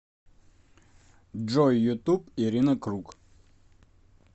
джой ютуб ирина круг